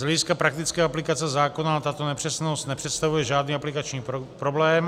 Z hlediska praktické aplikace zákona tato nepřesnost nepředstavuje žádný aplikační problém.